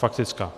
Faktická.